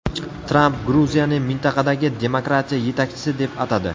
Tramp Gruziyani mintaqadagi demokratiya yetakchisi deb atadi.